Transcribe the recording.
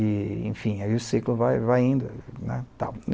E, enfim, aí o ciclo vai vai indo, né, tal.